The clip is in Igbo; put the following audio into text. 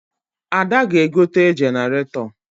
Ada ga-egote jeneratọ